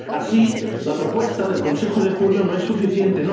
Así, la propuesta del Consejo de julio no es suficiente.